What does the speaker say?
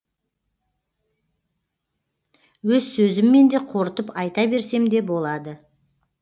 өз сөзіммен де қорытып айта берсем де болады